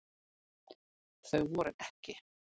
Þau voru EKKI.